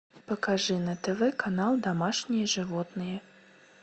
покажи на тв канал домашние животные